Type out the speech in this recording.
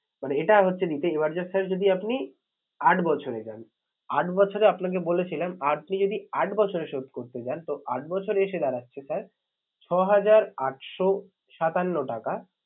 মানে এটা হচ্ছে এবার just sir যদি আপনি আট বছরে যান, আট বছরে আপনাকে বলেছিলাম আপনি যদি আট বছরে শোধ করতে চান তো আট বছরে এসে দাঁড়াচ্ছে sir ছহাজার আটশো সাতান্ন টাকা